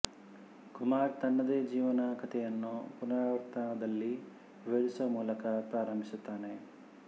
ಕುಮಾರ್ ತನ್ನದೇ ಜೀವನ ಕಥೆಯನ್ನು ಪುನರಾವರ್ತನದಲ್ಲಿ ವಿವರಿಸುವ ಮೂಲಕ ಪ್ರಾರಂಭಿಸುತ್ತಾನೆ